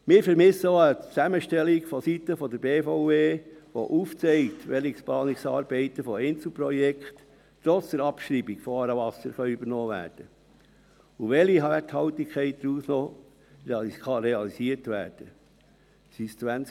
Wir vermissen auch eine Zusammenstellung vonseiten der BVE, die aufzeigt, welche Planungsarbeiten zu Einzelprojekten trotz der Abschreibung von «Aarewasser» übernommen werden können und welche Werthaltigkeit daraus noch realisiert werden kann.